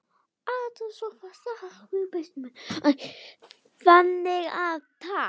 Þannig að takk.